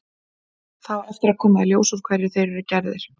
Það á eftir að koma í ljós úr hverju þeir eru gerðir.